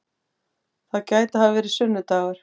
Það gæti hafa verið sunnu-dagur.